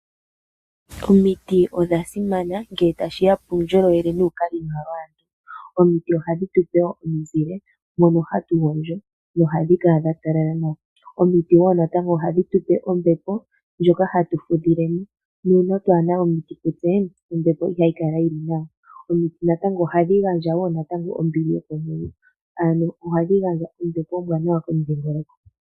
Omiti odha simana ngele tashiya puundjolowele nuukali nawa waantu. omiti ohadhi tupe omiizile moka hatu hatugondjo nohadhi kala dhatalala nawa. Omiti woo ohadhi